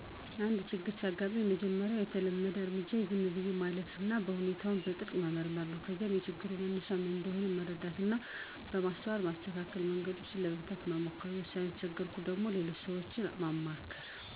አንድ ችግር ሲያጋጥመኝ፣ የመጀመሪያው የተለመደ እርምጃዬ ዝም ብዬ ማረፍና ሁኔታውን በጥልቀት መመርመር ነው። ከዚያም የችግሩ መነሻ ምን እንደሆነ በመረዳት እና በማስተዋል በማስተካከያ መንገዶች ለመፍታት እሞክራለሁ። ለዉሳኔ ከተቸገርኩ ደግሞ፣ ከሌሎች ሰዎች ምክሮችን ለማግኘት እማክራለሁ።